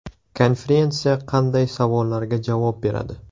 Konferensiya qanday savollarga javob beradi?